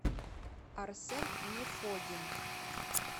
арсен нефодин